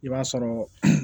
I b'a sɔrɔ